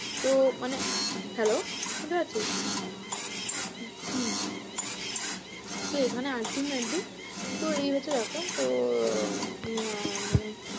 তো মানে hello শুনতে পাচ্ছিস? হম তো এখানে ultimately তো এই হচ্ছে ব্যাপার তো মানে